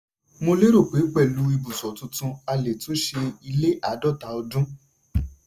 mo lérò pé pẹ̀lú ibùsọ̀ tuntun a lè túnṣe ilé àádọ́ta ọdún.